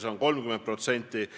See on siis 30%.